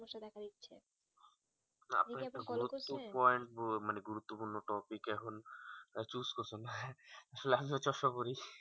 মানে গুরুত্ব পূর্ণ topic এখন তো আমিও চশমা পড়ি